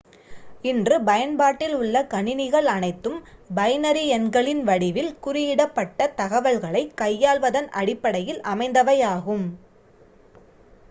இன்று பயன்பாட்டில் உள்ள கணினிகள் அனைத்தும் பைனரி எண்களின் வடிவில் குறியிடப்பட்ட தகவல்களைக் கையாள்வதன் அடிப்படையில் அமைந்தவையாகும்